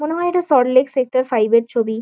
মনে হয় এটা সল্ট লেক সেক্টর ফাইভের ছবি।